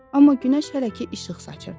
Amma günəş hələ ki işıq saçırdı.